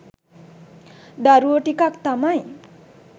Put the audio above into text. දරුවෝ ටිකක් තමයි